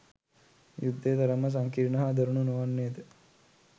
යුද්ධය තරම්ම සංකීර්ණ හා දරුණු නොවන්නේද?